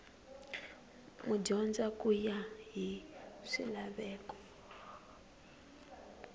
madyondza ku ya hi swilaveko